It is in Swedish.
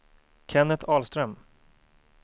Kenneth Ahlström